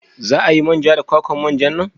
Za a yi man ja da kwakwan manja nan?